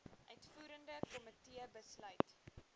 uitvoerende komitee besluit